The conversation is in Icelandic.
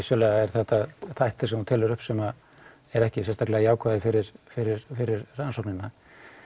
þetta þættir sem þú telur upp sem eru ekki jákvæðir fyrir fyrir fyrir rannsóknina